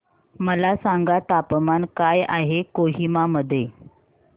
मला सांगा तापमान काय आहे कोहिमा मध्ये